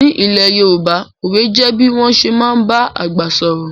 Ní ilẹ̀ Yorùbá, òwe jẹ bí wọ́n ṣé máa ń ba àgbà sọ̀rọ̀